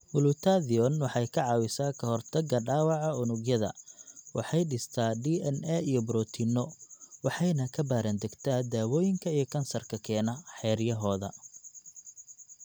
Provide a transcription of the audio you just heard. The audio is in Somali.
Glutathione waxay ka caawisaa ka hortagga dhaawaca unugyada, waxay dhistaa DNA iyo borotiinno, waxayna ka baaraandegtaa dawooyinka iyo kansarka keena xeryahooda.